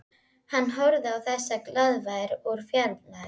Hann horfði á þessa glaðværð úr fjarlægð.